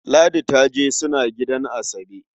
Ladi ta je suna gidan Asabe.